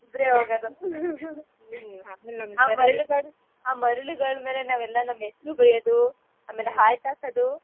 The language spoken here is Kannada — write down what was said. ಇಬ್ರೇ ಹೋಗದು ಆ ಮರಳುಗಳ್ ಮರಳುಗಳ್ ಮೇಲೆ ನಾವೆಲ್ಲ ನಮ್ ಹೆಸ್ರು ಬರಿಯದು ಆಮೇಲೆ heart ಹಾಕದು.